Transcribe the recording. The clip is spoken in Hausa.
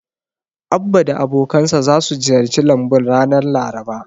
Abba da abokansa zasu ziyarci lambun ranar Laraba.